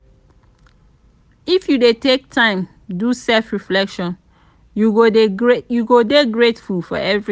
if you dey take time do self-reflection you go dey grateful for everytin.